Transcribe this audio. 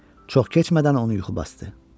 Çox keçmədən onu yuxu basdı.